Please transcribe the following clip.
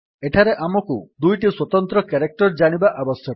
ଏଠାରେ ଆମକୁ ଦୁଇଟି ସ୍ୱତନ୍ତ୍ର କ୍ୟାରେକ୍ଟର୍ ଜାଣିବା ଆବଶ୍ୟକ